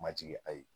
Ma jigin a ye